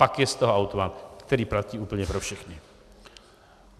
Pak je z toho automat, který platí úplně pro všechny.